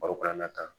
Barokuranna tan